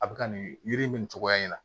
A bɛ ka nin yiri in nin cogoya in na